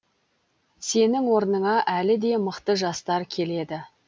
сенің орныңа әлі де мықты жастар келеді